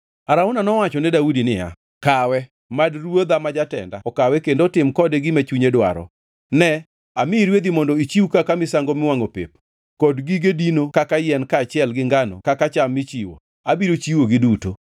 Arauna nowacho ne Daudi niya, “Kawe! Mad ruodha ma jatenda okawe kendo otim kode gima chunye dwaro. Ne, anamiyi rwedhi mondo ichiw kaka misango miwangʼo pep, kod gige dino kaka yien kaachiel gi ngano kaka cham michiwo; abiro chiwogi duto.”